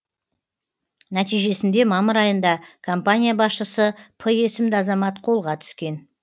нәтижесінде мамыр айында компания басшысы п есімді азамат қолға түскен